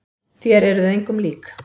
Þér eruð engum lík!